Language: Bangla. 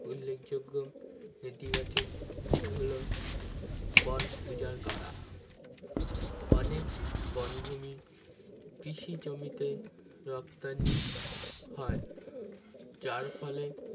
উল্লেখযোগ্য নীতিবাচকটি হলো বন উজাড় করা অনেক বোন ভূমি কৃষি জমিতে রপ্তানি হয় যার ফলে